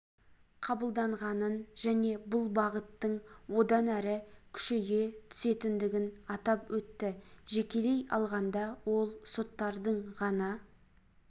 қабылданғанын және бұл бағыттың одан әрі күшейе түсетіндігін атап өтті жекелей алғанда ол соттардың ғана